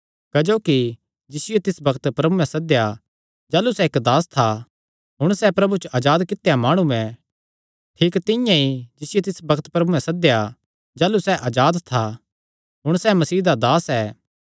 क्जोकि जिसियो तिस बग्त प्रभुयैं सद्देया जाह़लू सैह़ इक्क दास था हुण सैह़ प्रभु च अजाद कित्या माणु ऐ ठीक तिंआं ई जिसियो तिस बग्त प्रभुयैं सद्देया जाह़लू सैह़ अजाद था हुण सैह़ मसीह दा दास ऐ